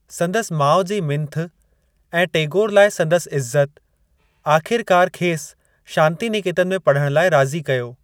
संदसि माउ जी मिंथ ऐं टेगोर लाइ संदसि इज़्ज़त आख़िरकारु खेसि शांतिनिकेतन में पढ़ण लाइ राज़ी कयो।